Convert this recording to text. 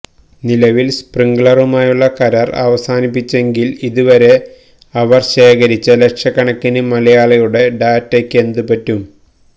നിലവില് സ്പ്രിങ്ക്ളറുമായുള്ള കരാര് അവസാനിപ്പിച്ചെങ്കില് ഇതുവരെ അവര് ശേഖരിച്ച ലക്ഷക്കണക്കിന് മലയാളികളുടെ ഡാറ്റയ്ക്കെന്ത് പറ്റും